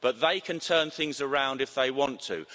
But they can turn things around if they want to.